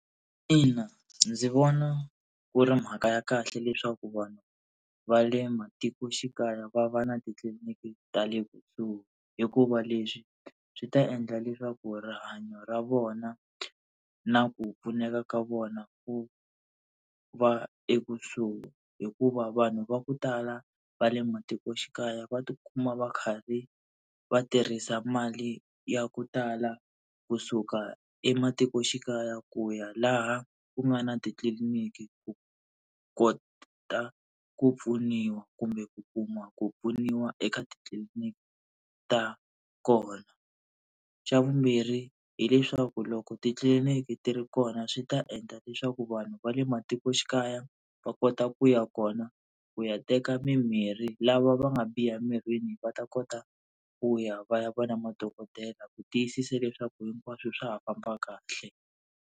Ina, ndzi vona ku ri mhaka ya kahle leswaku vanhu va le matikoxikaya va va na titliliniki ta le kusuhi, hikuva leswi swi ta endla leswaku rihanyo ra vona na ku pfuneka ka vona ku va ekusuhi. Hikuva vanhu va ku tala va le matikoxikaya va tikuma va karhi va tirhisa mali ya ku tala kusuka ematikoxikaya ku ya laha ku nga na titliliniki ku ku kota ku pfuniwa kumbe ku kuma ku pfuniwa eka titliliniki ta kona. Xa vumbirhi hileswaku loko titliliniki ti ri kona swi ta endla leswaku vanhu va le matikoxikaya va kota ku ya kona ku ya teka mimirhi, lava va nga biha emirini va ta kota ku ya va ya va na madokodela ku tiyisisa leswaku hinkwaswo swa ha famba kahle.